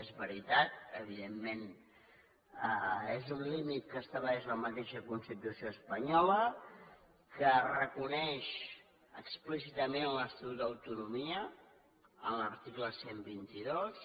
és veritat evidentment és un límit que estableix la mateixa constitució espanyola que reconeix explícitament l’estatut d’autonomia en l’article cent i vint dos